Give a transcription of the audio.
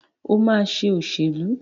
Ó máa ṣe òṣèlú.